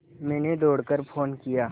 मैंने दौड़ कर फ़ोन किया